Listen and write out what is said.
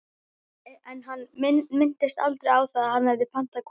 En hann minntist aldrei á að hann hefði pantað konu.